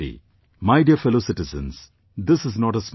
My dear fellow citizens, this is not a small matter